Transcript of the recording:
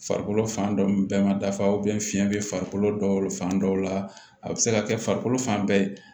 Farikolo fan dɔ bɛɛ ma dafa fiyɛn bɛ farikolo dɔw fan dɔw la a bi se ka kɛ farikolo fan bɛɛ